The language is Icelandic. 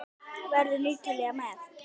Verður Ítalía með?